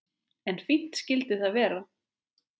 En fínt skyldi það vera!